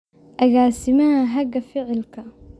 agaasimaha haga ficilka